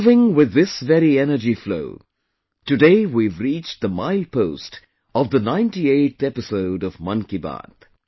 Moving with this very energy flow, today we have reached the milepost of the 98th episode of 'Mann Ki Baat'